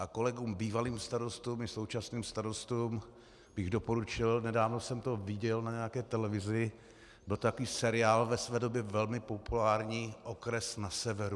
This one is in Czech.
A kolegům bývalým starostům i současným starostům bych doporučil, nedávno jsem to viděl na nějaké televizi, byl to takový seriál ve své době velmi populární Okres na severu.